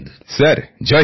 sir Jai Hind